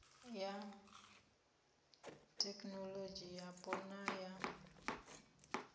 ya thekinolodzhi yapo na ya